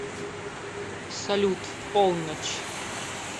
салют в полночь